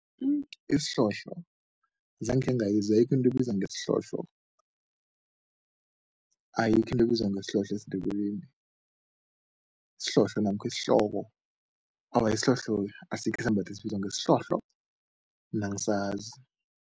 Isihlohlo zange khengayizwa, ayikho into ebizwa ngesihlohlo. Ayikho into ebizwa ngesihlohlo esiNdebeleni, isihlohlo namkha isihloko, awa isihlohlo asikho isembatho esibizwa ngesihlohlo, mina angisazi.